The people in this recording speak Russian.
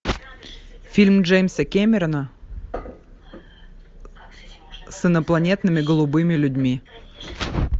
фильм джеймса кэмерона с инопланетными голубыми людьми